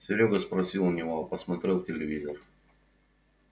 серёга спросил у него а посмотрел в телевизор